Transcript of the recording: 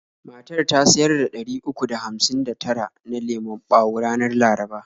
Matar ta siyar da ɗari uku da hamsin da tara na lemon bawo ranar laraba.